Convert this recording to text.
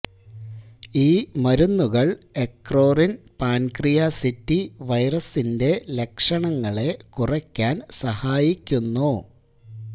ഈ മരുന്നുകൾ എക്ക്രോറിൻ പാൻക്രിയാസിറ്റി വൈറസിന്റെ ലക്ഷണങ്ങളെ കുറയ്ക്കാൻ സഹായിക്കുന്നു